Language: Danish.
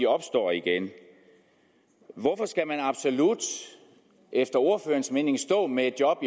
opstår igen hvorfor skal man absolut efter ordførerens mening stå med et job